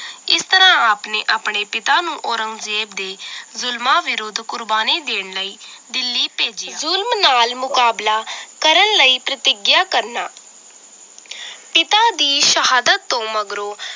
ਇਸ ਤਰਾਹ ਆਪ ਨੇ ਆਪਣੇ ਪਿਤਾ ਨੂੰ ਔਰੰਗਜ਼ੇਬ ਦੇ ਜ਼ੁਲਮਾਂ ਵਿਰੁੱਧ ਕੁਰਬਾਨੀ ਦੇਣ ਲਈ ਦਿੱਲੀ ਭੇਜਿਆ ਜ਼ੁਲਮ ਨਾਲ ਮੁਕਾਬਲਾ ਕਰਨ ਲਈ ਪ੍ਰਤਿਗਿਆ ਕਰਨਾ ਪਿਤਾ ਦੀ ਸ਼ਹਾਦਤ ਤੋਂ ਮਗਰੋਂ